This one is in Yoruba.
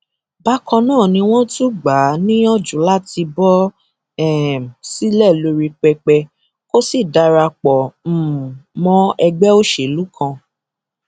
bákan náà ni wọn tún gbà á níyànjú láti bọ um sílẹ lórí pẹpẹ kó sì darapọ um mọ ẹgbẹ òṣèlú kan